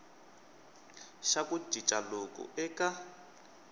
xa ku cinca loku eka